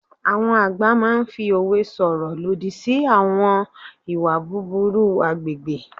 Àwọn àgbà máa n fi òwe sọ̀rọ̀ lòdì sí àwọn ìwà búburú agbègbè